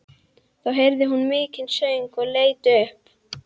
Þá heyrði hún mikinn söng og leit upp.